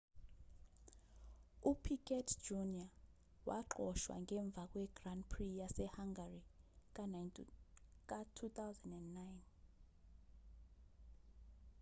upiquet jr waxoshwa ngemva kwe-grand prix yase-hungary ka-2009